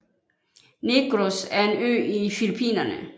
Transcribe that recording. Negros er en ø i Filipinerne